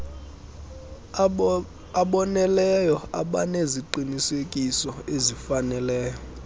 aboneleyo abaneziqinisekiso ezifaneleyo